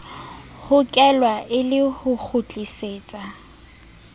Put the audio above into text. hokelwa e le ho kgutlisetsa